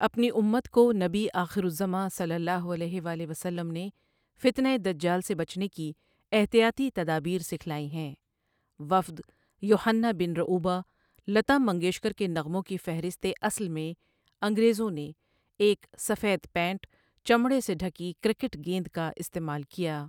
اپنی امت کو نبی آخرزماںؐ نے فتنہ دجال سے بچنے کی احتیاطی تدابیر سکھلائی ہیں۔ وفد يحنہ بن رؤبہ لتا منگيشكر كے نغموں كي فہرست اصل میں، انگریزوں نے ایک سفید پینٹ چمڑے سے ڈھکی کرکٹ گیند کا استعمال کیا۔